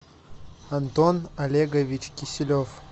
антон олегович киселев